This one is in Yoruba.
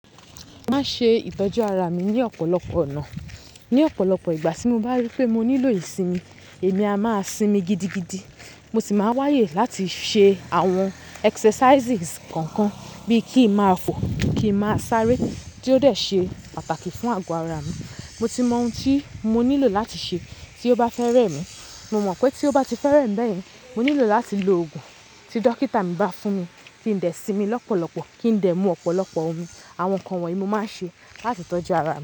Máa ṣe ìtọ́jú ara mi ní ọ̀pọ̀lọpọ̀ ọ̀nà. Ni ọ̀pọ̀lọpọ̀ ìgbà tí mo bá rí pé mo nílò ìsinmi, èmi a máa sinmi gidigidi. Mo sì máa wáyè láti ṣe àwọn exercises kọ̀ọ̀kan bíi kí ń máa fò, kí ń máa sáré tí ó dẹ̀ ṣe pàtàkì fún àgọ́ ara mi. Mo ti mọ ohun tí mo nílò láti ṣe tí ó bá fẹ́rẹ̀ mí. Mo mọ̀ pé tí ó bá ti fẹ́rẹ̀ mí bẹ́ẹ̀ yín, mo nílò láti lo oògùn tí dókítà mi bá fún mi, kí n dẹ̀ sinmi lọ́pọ̀lọpọ̀, kí n dẹ̀ mú ọ̀pọ̀lọpọ̀ omi. Àwọn nǹkan wọ̀nyí mo máa ń ṣe láti tọ́jú ara mi.